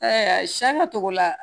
siɲɛ togo la